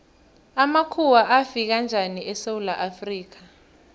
amakhuwa afika njani esewula afrika